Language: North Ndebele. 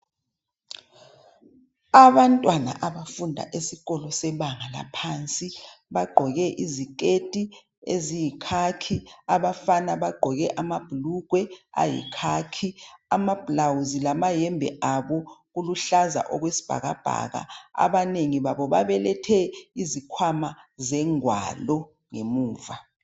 Abantwana abafunda esikolo sebanga laphansi bagqoke iziketi eziyikhakhi, abafana bagqoke amabhulugwe ayikhakhi. Amablawuzi lamayembe abo kuluhlaza okwesbhakabhaka. Abanengi babo babelethi izikhwama zengwalo ngemuva.